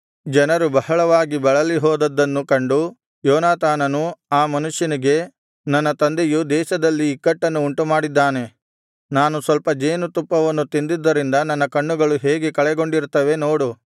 ಜನರು ಬಹಳವಾಗಿ ಬಳಲಿ ಹೋದದ್ದನ್ನು ಕಂಡು ಯೋನಾತಾನನು ಆ ಮನುಷ್ಯನಿಗೆ ನನ್ನ ತಂದೆಯು ದೇಶದಲ್ಲಿ ಇಕ್ಕಟ್ಟನ್ನು ಉಂಟುಮಾಡಿದ್ದಾನೆ ನಾನು ಸ್ವಲ್ಪ ಜೇನುತುಪ್ಪವನ್ನು ತಿಂದದ್ದರಿಂದ ನನ್ನ ಕಣ್ಣುಗಳು ಹೇಗೆ ಕಳೆಗೊಂಡಿರುತ್ತವೆ ನೋಡು